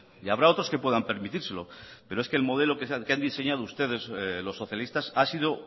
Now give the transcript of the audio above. y habrá otros que puedan permitírselo pero es que el modelo que han diseñado ustedes los socialistas ha sido